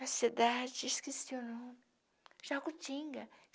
A cidade, esqueci o nome, Jacutinga.